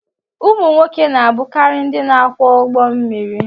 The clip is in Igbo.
ụmụ nwoke na-abụkarị ndị na-akwọ ụgbọ mmiri